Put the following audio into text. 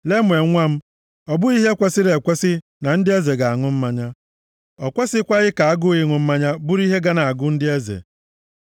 Lemuel nwa m, ọ bụghị ihe kwesiri ekwesi na ndị eze ga-aṅụ mmanya. O kwesikwaghị ka agụụ ịṅụ mmanya bụrụ ihe ga na-agụ ndị eze.